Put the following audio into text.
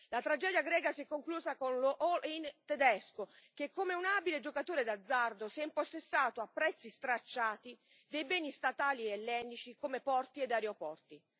La tragedia greca si è conclusa con lo all in tedesco che, come un abile giocatore d'azzardo, si è impossessato a prezzi stracciati dei beni statali ellenici come porti ed aeroporti.